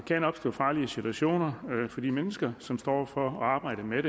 kan opstå farlige situationer for de mennesker som står for arbejdet med